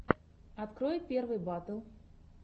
открой первые батл